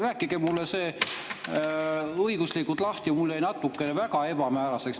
Rääkige mulle see õiguslikult lahti, mulle jäi teie selgitus väga ebamääraseks.